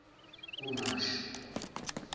kumashi